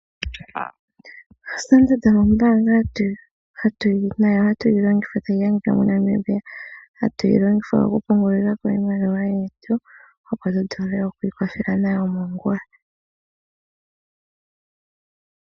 Standard ombanga nayo hatuyi longitha hayi adhika moNamibia. Hatu yi longitha oku pungulilako iimaliwa yetu. Opo tu vule oku ikwathela nayo ongula.